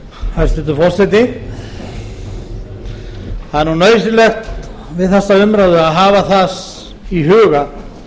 hæstvirtur forseti það er nauðsynlegt við þessa umræðu að hafa það í huga